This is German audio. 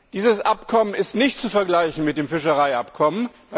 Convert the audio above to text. Dieses Abkommen ist nicht zu vergleichen mit dem Fischereiabkommen.